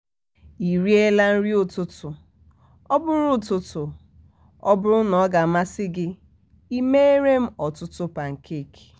ị rie la um nri um ụtụtụ? ọbụrụ um ụtụtụ? ọbụrụ na ọ ga-amasị gị e um mere m ọtụtụ pankeeki